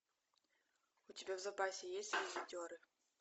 у тебя в запасе есть визитеры